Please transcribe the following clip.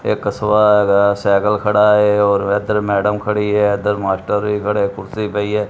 ਇੱਕ ਕਸਬਾ ਹੈਗਾ। ਸਾਈਕਲ ਖੜਾ ਹੈ ਔਰ ਇੱਧਰ ਮੈਡਮ ਖੜੀ ਹੈ। ਇੱਧਰ ਮਾਸਟਰ ਵੀ ਖੜੇ ਕੁਰਸੀ ਪਈ ਹੈ।